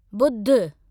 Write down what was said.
बुध